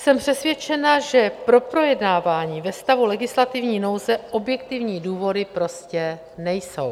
Jsem přesvědčena, že pro projednávání ve stavu legislativní nouze objektivní důvody prostě nejsou.